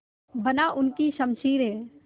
बना उनकी शमशीरें